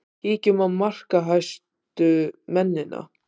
Kíkjum á markahæstu mennina.